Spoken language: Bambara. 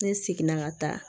Ne seginna ka taa